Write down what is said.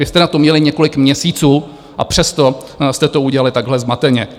Vy jste na to měli několik měsíců, a přesto jste to udělali takhle zmateně.